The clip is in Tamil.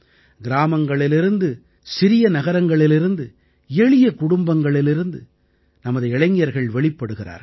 கிராமங்களிலிருந்து சிறிய நகரங்களிலிருந்து எளிய குடும்பங்களிலிருந்து நமது இளைஞர்கள் வெளிப்படுகிறார்கள்